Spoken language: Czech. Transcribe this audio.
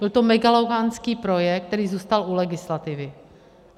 Byl to megalomanský projekt, který zůstal u legislativy.